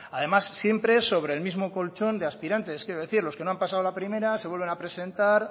además siempre sobre el mismo colchón de aspirantes quiero decir los que no han pasado la primera se vuelven a presentar